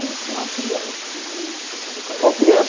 E o senhor criança, no meio disso tudo, como é que era? Bom, criança